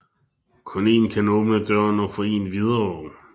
Kun én kan åbne døren og få én videre